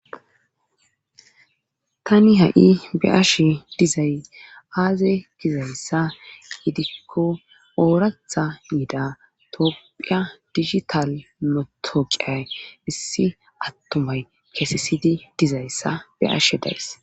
Tani ha'i be'ashe dizay aaze gizayssa gidikko ooratha yida tophiya digital motoqiyay issi attomay keesesidi dizayssa be ashe days